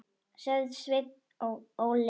sagði Sveinn Óli.